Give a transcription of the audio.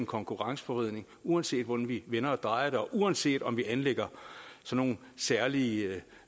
konkurrenceforvridning uanset hvordan vi vender og drejer det og uanset om vi anlægger nogle særlige